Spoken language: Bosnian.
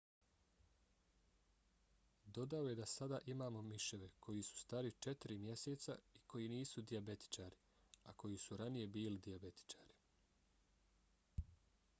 dodao je da sada imamo miševe koji su stari četiri mjeseca i koji nisu dijabetičari a koji su ranije bili dijabetičari.